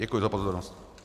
Děkuji za pozornost.